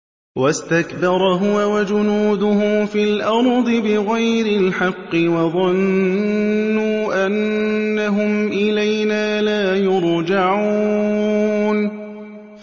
وَاسْتَكْبَرَ هُوَ وَجُنُودُهُ فِي الْأَرْضِ بِغَيْرِ الْحَقِّ وَظَنُّوا أَنَّهُمْ إِلَيْنَا لَا يُرْجَعُونَ